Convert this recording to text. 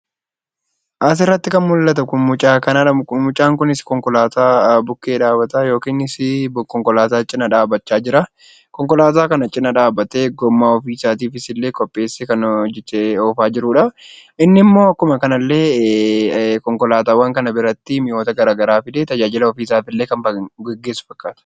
Asirratti kan mul'atu kun , mucaa kanadha . Mucaan kunis konkolaataa bukkee dhaabbataa yookiinis konkolaataa cina dhaabbachaa jiraa. Konkolaataa kana cina dhaabbatee gommaa ofii isaatiifis illee qopheessee kan oofaa jirudha. Inni immoo akkuma kana illee konkolaataawwan kana biratti mi'oota garaagaraa fidee tajaajila ofii isaa gaggeessu fakkaata.